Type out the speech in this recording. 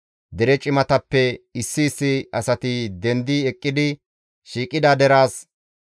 Dere cimatappeka issi issi asati dendi eqqidi shiiqida deraas,